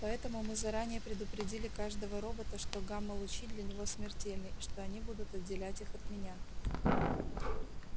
поэтому мы заранее предупредили каждого робота что гамма-лучи для него смертельны и что они будут отделять их от меня